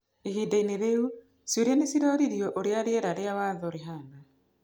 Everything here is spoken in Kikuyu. Ihindainĩ -rĩu, ciũria nĩciroririo ũrĩa rĩera rĩa watho rĩhana.